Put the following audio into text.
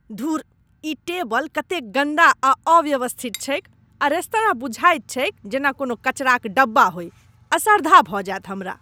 धुर! ई टेबल कतेक गन्दा आ अव्यवस्थित छैक आ रेस्तरां बुझाइत छैक जेना कोनो कचराक डिब्बा होइ, असर्धा भऽ जायत हमरा।